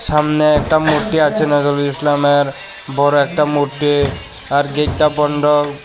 সামনে একটা মূর্তি আছে নজরুল ইসলামের বড় একটা মূর্তি আর গেটটা বন্ধ।